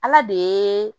Ala de ye